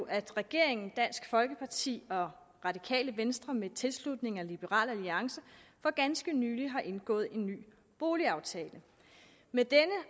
at regeringen dansk folkeparti og radikale venstre med tilslutning af liberal alliance for ganske nylig har indgået en ny boligaftale med denne